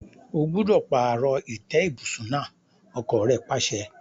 O gbúdọ̀ pààrọ̀ ìtẹ́ ibùsùn náà! ọkọ́ rẹ̀ pàṣẹ.